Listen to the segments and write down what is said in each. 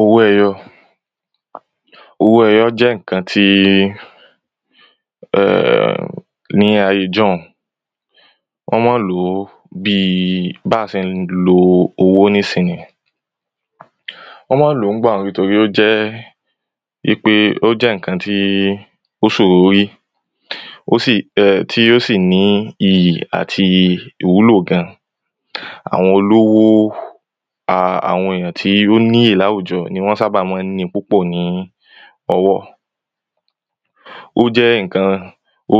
owó ẹyọ owó ẹyọ jẹ́ ǹkan tí ní ayé ijọun wọ́n mọ́ ń lòó bíi bá se ń lo owó nísìnyí ó mọ́ ń lò nígbà òún nítorí ó jẹ́ í pé ó jẹ́ ǹkan tí ó ṣòro rí tí ó sì ní iyì ài ìwúlò gan àwọn olówo àwọn èyàn tí ó níyì láwùjọ ní wọ́n sábà má ń ni púpọ̀ ní ọwọ́ ó jẹ́ ìnkan ó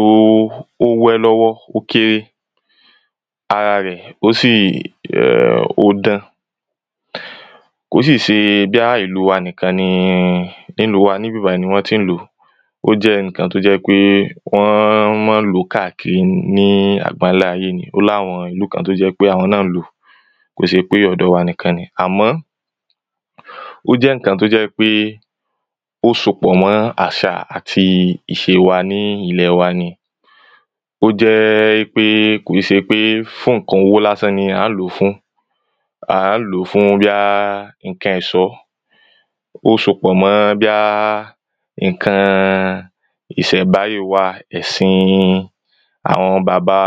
wé lọ́wọ́ ó kéré ara rẹ̀ ó sì ó dán kò sì ṣe bíá ìlú wa nìkan ni nílùú níbí bàyí ni wọ́n tí ń lòó ó jẹ́ ǹkan tó jẹ́ pé wọ́n mọ́ ń lòó káàkiri ní àgbálayé ó láwọn ìlú kan tó jẹ́ pé àwọn náà ń lò kò ṣe pé ọ̀dọ̀ wa nìkan ni àmọ́ ó jẹ́ ǹkan tó jẹ́ pé ó sopọ̀ mọ́ àṣà àti ìṣe wa ní ilẹ̀ wa ni ó jẹ́ í pé kò í se pé fún ǹkan owó lásán ni à ń lò fún à ń lò fún bíá ǹkẹn ẹsọ ó sopọ̀ mọ́ bíá ìnkan ìṣẹ̀mbáyé wa ẹ̀sin àwọn bàba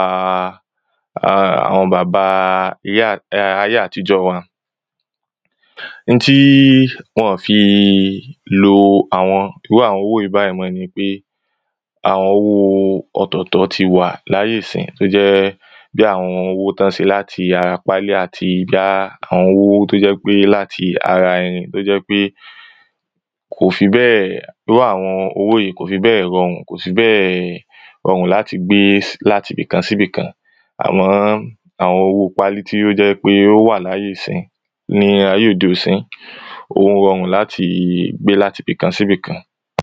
ayé àtijọ́ wa n tí wọn ọ̀ fi lo àwọn irú àwọn owó yí báyí mọ́ ni pé àwọn owó ọ̀tọ̀tọ̀ ti wà láyé sìnyí tó jẹ́ bí àwọn owó tọ́ se láti ara pálí àti gáá àwọn owó tó jẹ́ pé láti ara tó jẹ́ pé kò fi bẹ́ẹ̀ irú àwọn owó kò fi bẹ́ẹ̀ rọrùn kò fi bẹ́ẹ̀ rọrùn láti gbe láti bìkan sí bìkan àmọ́ àwọn owó pálí tí ó jẹ́ wí pé ó wà láyé ìsìnyí ní ayé òde ìsìnyí ó rọrùn láti gbe láti bìkan sí bìkan